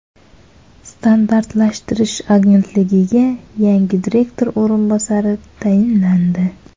Standartlashtirish agentligiga yangi direktor o‘rinbosari tayinlandi.